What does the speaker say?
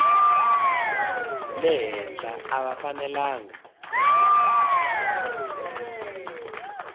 le henhla a va fanelanga